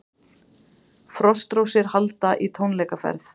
Frostrósir halda í tónleikaferð